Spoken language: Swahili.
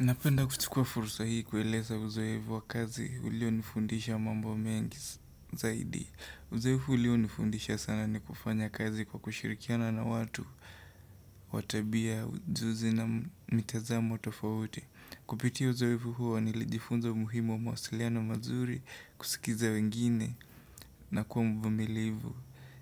Napenda kuchukua fursa hii kueleza uzoevu wa kazi ulionifundisha mambo mengi zaidi. Uzoefu ulionifundisha sana ni kufanya kazi kwa kushirikiana na watu wa tabia ujuzi na mitazamo tofauti. Kupitia uzoefu huo nilijifunza umuhimu wa mawasiliano mazuri kusikiza wengine na kuwa mvumilivu.